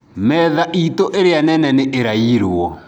Metha iitũ ĩrĩa Nene nĩ ĩraiyirwo.